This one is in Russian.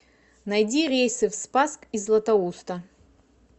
найди рейсы в спасск из златоуста